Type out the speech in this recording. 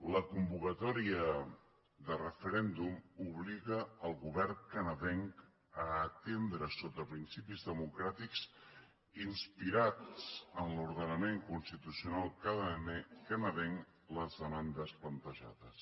la convocatòria de referèndum obliga el govern canadenc a atendre sota principis democràtics inspirats en l’ordenament constitucional canadenc les demandes plantejades